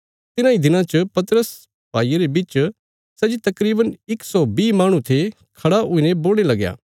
तिन्हांई दिनां च पतरस भाईयां रे बिच सै जे तकरीवन इक सौ बीह माहणु थे खड़ा हुईने बोलणे लगया